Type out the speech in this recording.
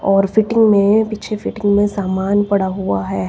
और फिटिंग में पीछे फिटिंग में सामान पड़ा हुआ है।